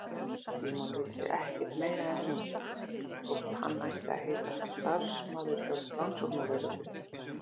Símon vissi ekkert meira en hún, þótt hann ætti að heita starfsmaður hjá rannsóknarlögreglunni.